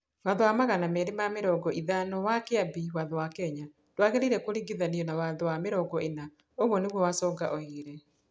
Watho wa magana merĩ ma mĩrongo ĩthano wa Kĩambi Watho wa Kenya ndwagĩrĩire kũringithanio na Watho wa mĩrongo ĩna," ũguo nĩguo Wasonga oigire.